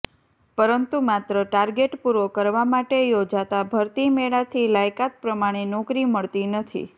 પરંતુ માત્ર ટારગેટ પુરો કરવા માટે યોજાતા ભરતી મેળાથી લાયકાત પ્રમાણે નોકરી મળતી નથી